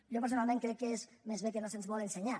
jo personalment crec que és més aviat que no se’ns vol ensenyar